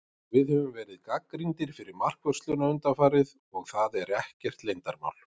Við höfum verið gagnrýndir fyrir markvörsluna undanfarið, og það er ekkert leyndarmál.